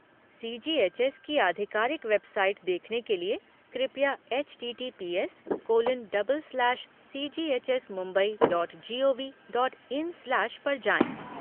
सी G H S की आधिकारिक website देखने के लिए कृपया HTTPS colon double slash CGHS Mumbai dot GOV dot in slash पर जाएँ।